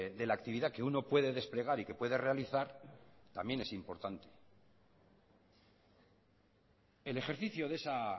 de la actividad que uno puede desplegar y que puede realizar también es importante el ejercicio de esa